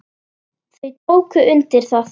Þau tóku undir það.